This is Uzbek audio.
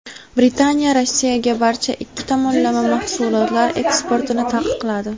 Britaniya Rossiyaga barcha ikki tomonlama mahsulotlar eksportini taqiqladi.